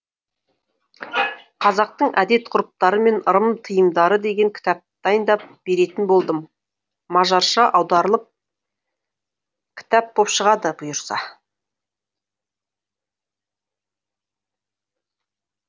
қазақтың әдет ғұрыптары мен ырым тыйымдары деген кітап дайындап беретін болдым мажарша аударылып кітап боп шығады бұйырса